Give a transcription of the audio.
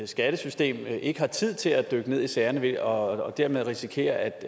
skattesystem ikke har tid til at dykke ned i sagerne og at dermed risikerer at